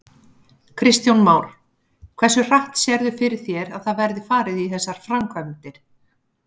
Kristján Már: Hversu hratt sérðu fyrir þér að það verði farið í þessar framkvæmdir?